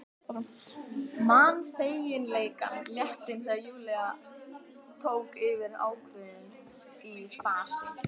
Man feginleikann, léttinn, þegar Júlía tók yfir ákveðin í fasi.